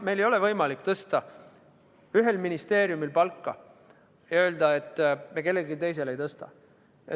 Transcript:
Meil ei ole võimalik tõsta palka ühel ministeeriumil ja öelda, et kellelgi teisel me seda ei tõsta.